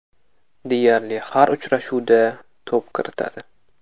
Deyarli har uchrashuvda to‘p kiritadi.